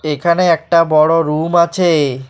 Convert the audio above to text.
এখানে একটা বড় রুম আছে।